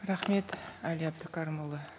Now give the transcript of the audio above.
рахмет әли әбдікәрімұлы